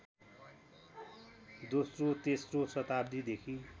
दोस्रो तेस्रो शताब्दीदेखि